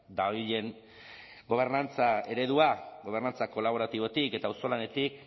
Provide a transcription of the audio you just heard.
dabilen gobernantza eredua gobernantza kolaboratibotik eta auzolanetik